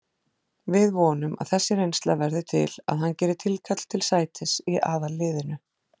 Við vonum að þessi reynsla verði til að hann geri tilkall til sætis í aðalliðinu.